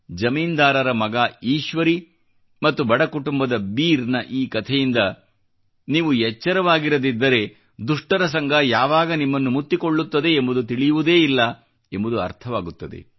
ಜಮೀನ್ದಾರರ ಮಗ ಈಶ್ವರೀ ಮತ್ತು ಬಡ ಕುಟುಂಬದ ಬೀರ್ ನ ಈ ಕಥೆಯಿಂದ ನೀವು ಎಚ್ಚರವಾಗಿರದಿದ್ದರೆ ದುಷ್ಟರ ಸಂಗ ಯಾವಾಗ ನಿಮ್ಮನ್ನು ಮುತ್ತಿಕೊಳ್ಳುತ್ತದೆ ಎಂಬುದು ತಿಳಿಯುವುದೇ ಇಲ್ಲ ಎಂಬುದು ಅರ್ಥವಾಗುತ್ತದೆ